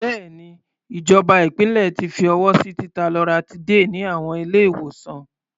Bẹ́ẹ̀ni, ìjọba ìpínlẹ̀ ti fi ọwọ́ sí títa loratiday ní àwọn ilé-ìwòsàn.